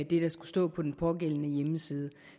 det der skulle stå på den pågældende hjemmeside